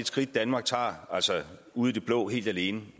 skridt danmark tager altså ud i det blå helt alene